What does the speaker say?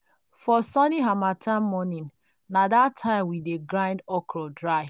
for sunny harmattan mornings na that time we dey grind okra dry.